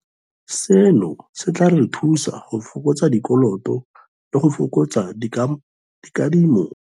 Seno se tla re thusa go fokotsa dikoloto le go fokotsa dikadimo tsa madi.